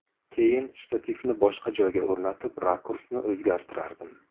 Keyin shtativni boshqa joyga o‘rnatib, rakursni o‘zgartirardim.